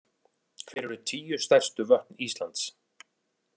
Hver eru tíu stærstu vötn Íslands?